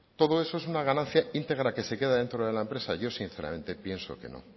todo eso es una ganancia íntegra que se queda dentro de la empresa yo sinceramente pienso que no